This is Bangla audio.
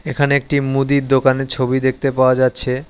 এখানে একটি মুদির দোকানের ছবি দেখতে পাওয়া যাচ্ছে।